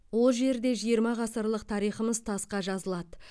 ол жерде жиырма ғасырлық тарихымыз тасқа жазылады